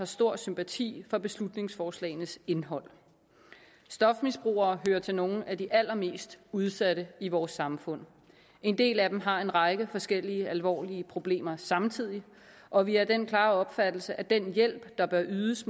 stor sympati for beslutningsforslagenes indhold stofmisbrugere hører til nogle af de allermest udsatte i vores samfund en del af dem har en række forskellige alvorlige problemer samtidig og vi er af den klare opfattelse at den hjælp der bør ydes